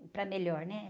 Para melhor, né?